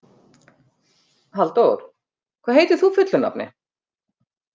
Halldór, hvað heitir þú fullu nafni?